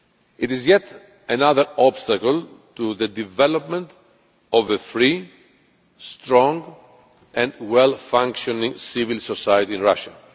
It is yet another obstacle to the development of a free, strong and well functioning civil society in Russia.